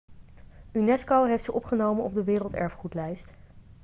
unesco heeft ze opgenomen op de werelderfgoedlijst